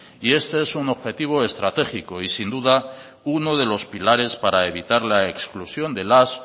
este es un objetivo estratégico y sin duda uno de los pilares para evitar la exclusión de las